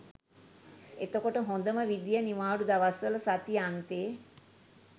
එතකොට හොඳම විදිය නිවාඩු දවස්වල සති අන්තෙ